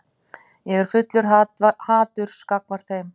Ég er fullur haturs gagnvart þeim.